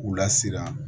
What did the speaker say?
K'u lasiran